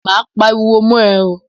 Máa pariwo mọ́ ẹ.